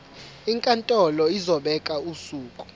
inkantolo izobeka usuku